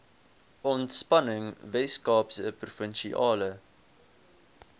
ontspanning weskaapse provinsiale